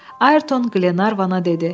Ayerton Qlenarvana dedi: